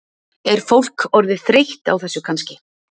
Er fólk orðið þreytt á þessu kannski?